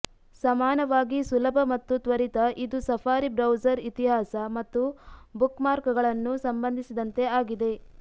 ಸಮಾನವಾಗಿ ಸುಲಭ ಮತ್ತು ತ್ವರಿತ ಇದು ಸಫಾರಿ ಬ್ರೌಸರ್ ಇತಿಹಾಸ ಮತ್ತು ಬುಕ್ಮಾರ್ಕ್ಗಳನ್ನು ಸಂಬಂಧಿಸಿದಂತೆ ಆಗಿದೆ